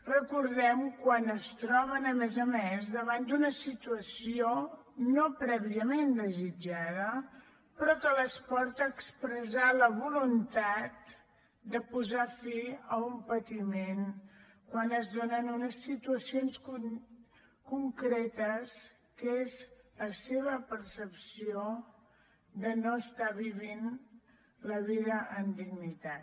recordem quan es troben a més a més davant d’una situació no prèviament desitjada però que les porta a expressar la voluntat de posar fi a un patiment quan es donen unes situacions concretes que és la seva percepció de no estar vivint la vida amb dignitat